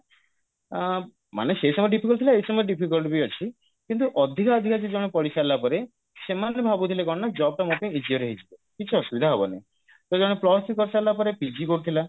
ଆ ମାନେ ସେଇ ସମୟରେ difficult ଥିଲା ଏଇ ସମୟରେ difficult ବି ଅଛି କିନ୍ତୁ ଅଧିକା ଅଧିକା ଯିଏ ଜଣେ ପଢିସାରିଲା ପରେ ସେମାନେ ଭାବୁଥିଲେ କଣ ନା job ଟା ମୋ ପାଇଁ easier ହେଇଯିବ କିଛି ଅସୁବିଧା ହବନି ତ ଜଣେ plus three କରିସାରିଲା ପରେ PG କରୁଥିଲା